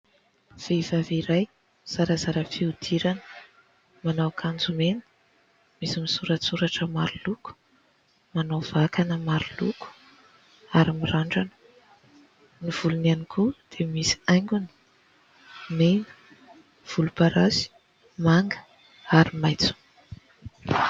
Vehivavy iray zarazara fihodirana. Manao akanjo mena, misy misoratsoratra maroloko. Manao vakana maroloko, ary mirandrana. Ny volony ihany koa dia misy haingony: mena, volomparasy, manga, ary maitso.